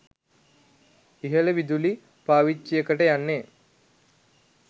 ඉහළ විදුලි පාවිච්චියකට යන්නේ